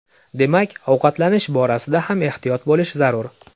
Demak, ovqatlanish borasida ham ehtiyot bo‘lish zarur.